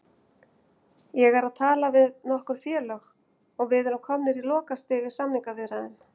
Ég er að tala við nokkur félög og við erum komnir á lokastig í samningaviðræðum.